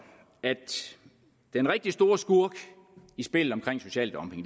at den rigtig store skurk i spillet omkring social dumping